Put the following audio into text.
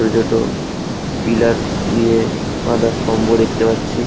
Pillar দিয়ে আধা স্তম্ভ দেখতে পাচ্ছি।